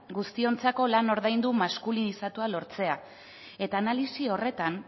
guztiontzako lan ordaindu maskulinizatua lortzea eta analisi horretan